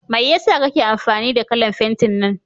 Mai yasa kake amfani da kalan fentin nan?